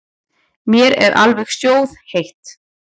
Mér er alveg sjóðheitt.